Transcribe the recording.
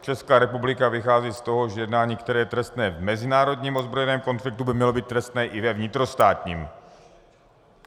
Česká republika vychází z toho, že jednání, které je trestné v mezinárodním ozbrojeném konfliktu, by mělo být trestné i ve vnitrostátním.